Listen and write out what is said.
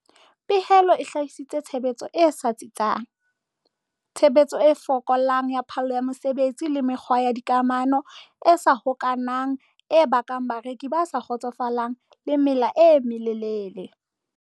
Pehelo e hlahisitse tshebetso e sa tsitsang, tshebetso e fokolang ya phallo ya mosebetsi le mekgwa ya dikamano e sa hokahanang e bakang bareki ba sa kgotsofalang le mela e melelele.